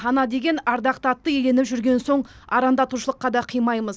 ана деген ардақты атты иеленіп жүрген соң арандатушылыққа да қимаймыз